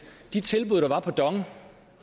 de tilbud der var på dong